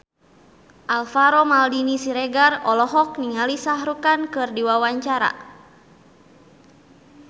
Alvaro Maldini Siregar olohok ningali Shah Rukh Khan keur diwawancara